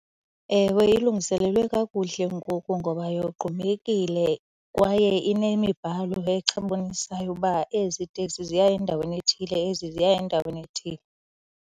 Ewe, ilungiselelwe kakuhle ngoku ngoba yogqumekile kwaye inemibhalo ebonisayo uba ezi teksi ziya endaweni ethile, ezi ziya endaweni ethile.